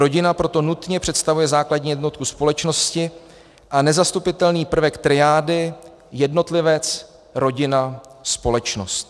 Rodina proto nutně představuje základní jednotku společnosti a nezastupitelný prvek triády: jednotlivec - rodina - společnost.